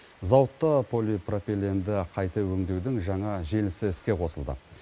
зауытта полипропиленді қайта өңдеудің жаңа желісі іске қосылды